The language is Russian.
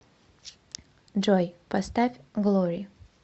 джой поставь глори